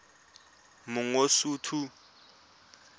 mangosuthu